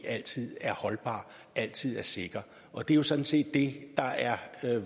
altid er holdbar altid er sikker det er sådan set det der er